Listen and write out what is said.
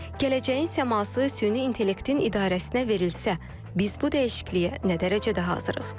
Gələcəyin səması süni intellektin idarəsinə verilsə, biz bu dəyişikliyə nə dərəcədə hazırıq?